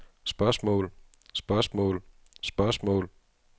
spørgsmål spørgsmål spørgsmål